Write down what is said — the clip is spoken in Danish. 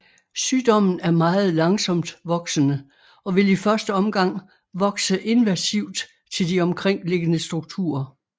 Sygdommen er meget langsomt voksende og vil i første omgang vokse invasivt til de omkringliggende strukturer